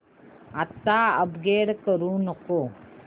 आता अपग्रेड करू नको